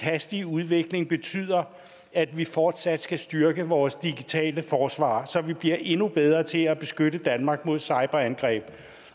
hastige udvikling betyder at vi fortsat skal styrke vores digitale forsvar så vi bliver endnu bedre til at beskytte danmark mod cyberangreb